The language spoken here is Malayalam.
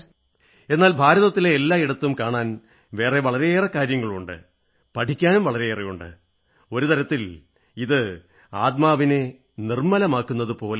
എന്നാൽ ഭാരതത്തിലെ എല്ലാ ഇടത്തും കാണാൻ വളരെയേറെ ഉണ്ട് പഠിക്കാനും വളരെയുണ്ട് ഒരു തരത്തിൽ ആത്മാവിനെ നിർമ്മലമാക്കുന്നതുപോലെയാണ്